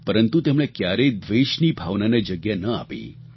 પરંતુ તેમણે ક્યારેય દ્વેષની ભાવનાને જગ્યા ન આપી